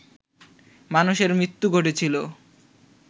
মানুষের মৃত্যু ঘটেছিল